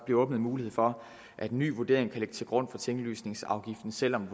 bliver åbnet mulighed for at en ny vurdering kan ligge til grund for tinglysningsafgiften selv om